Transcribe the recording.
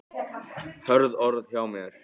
Hörð orð hjá mér?